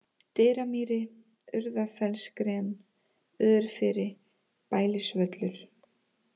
Dyramýri, Urðafellsgren, Örfiri, Bælisvöllur